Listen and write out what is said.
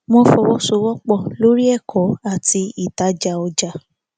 wọn fọwọsowọpọ lori ẹkọ àti ìtajà ọjà